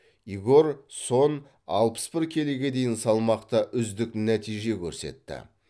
игорь сон алпыс бір келіге дейін салмақта үздік нәтиже көрсетті